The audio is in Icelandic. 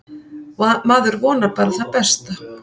Maður vonar bara það besta.